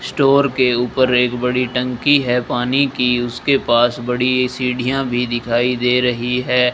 Store के ऊपर एक बड़ी टंकी है पानी की उसके पास बड़ी सीढ़ियां भी दिखाई दे रही है।